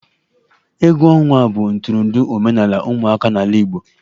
Egwu ọnwa bụ ntụrụndụ omenala ụmụaka n'ala igbo.